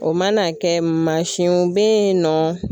O mana kɛ mansinw bɛ yen nɔ.